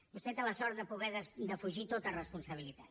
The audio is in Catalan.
vostè té la sort de poder defugir tota responsabilitat